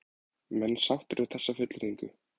Menn sáttir við þessa fullyrðingu?